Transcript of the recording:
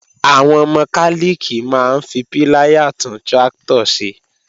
Àwọn mọkálìkì máa ń fi píláyà tún tráktọ̀ ṣe